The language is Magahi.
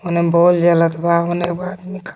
होने बोल जलत बा होने एगो आदमी खड़ बा.